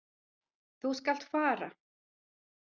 Þú skalt fara.